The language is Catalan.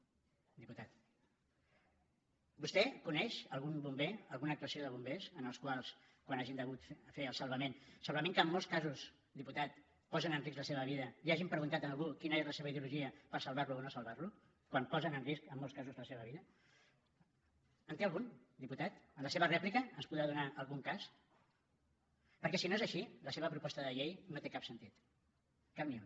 vostè coneix algun bomber alguna actuació de bombers en què quan hagin hagut de fer el salvament segurament que en molts casos diputat posen en risc la seva vida li hagin preguntat a algú quina és la seva ideologia per salvar lo o no salvar lo quan posen en risc en molts casos la seva vida en té algun diputat en la seva rèplica ens en podrà donar algun cas perquè si no és així la seva proposta de llei no té cap sentit cap ni un